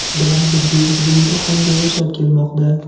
bilan birga ushbu yotoqxonada yashab kelmoqda.